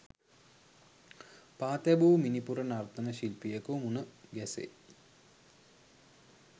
පා තැබූ මිණිපුර නර්තන ශිල්පියකු මුණ ගැසෙයි